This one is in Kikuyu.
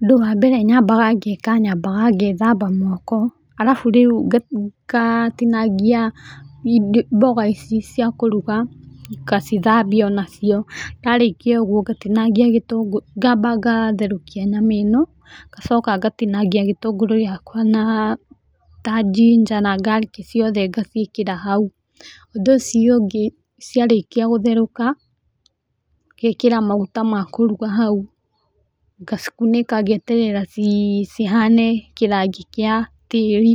Ũndũ wa mbere nyambanga ngeka, nyambaga ngethamba moko, arabu rĩũ ngatĩnagĩa mboga ĩcĩ cĩakũrũga ngacĩthambĩa ona cĩo. Ndarĩkĩa ogũo nagĩtangĩa gĩtũgũrũ, ngamba ngatĩnagĩa nyama ĩno ngacoka ngatĩnagĩa gĩtũgũrũ gĩakwa ta gĩnger, na garlic cĩothe ngacĩekĩra haũ. Ũndũ ũcĩo ũgĩ cĩarekĩa gũtheroka, ngaekera magũta makũrũga haũ ngacĩkũnĩka ngeterera cĩhane kĩrangĩ kĩa tĩrĩ.